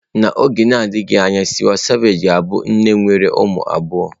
N'oge na-adịghị anya Tiwa Savage ga-abụ nne nwere ụmụ abụọ.